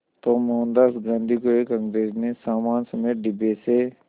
तो मोहनदास गांधी को एक अंग्रेज़ ने सामान समेत डिब्बे से